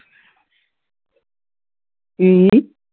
ਕਿ